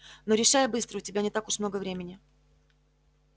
но решай быстро у тебя не так уж много времени